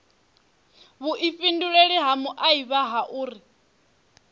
vhuifhinduleli ha muaifa ha uri